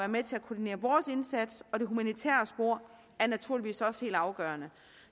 med til at koordinere vores indsats og det humanitære spor er naturligvis også helt afgørende